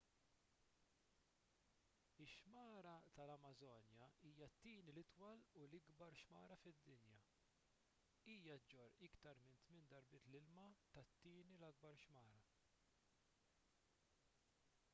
ix-xmara tal-amażonja hija t-tieni l-itwal u l-ikbar xmara fid-dinja hija ġġorr iktar minn 8 darbiet l-ilma tat-tieni l-ikbar xmara